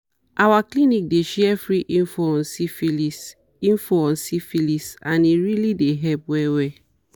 our clinic dey share free info on syphilis info on syphilis and e really dey help well well